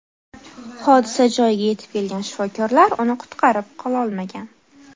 Hodisa joyiga yetib kelgan shifokorlar uni qutqarib qololmagan.